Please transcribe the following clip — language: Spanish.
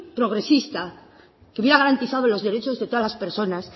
progresista que hubiera garantizado los derechos de todas las personas